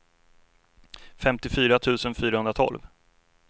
femtiofyra tusen fyrahundratolv